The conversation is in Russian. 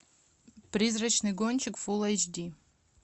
призрачный гонщик фул эйч ди